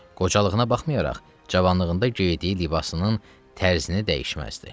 Qocalığına baxmayaraq, cavanlığında geydiyi libasının tərzini dəyişməzdi.